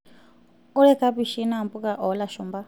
oree kapishi naa mbuka olashumpa